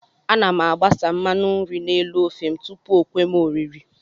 Ana m agbasa mmanụ nri n'elu ofe m tupu o kwe m oriri